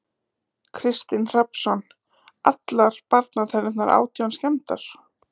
Kristinn Hrafnsson: Allar barnatennurnar átján skemmdar?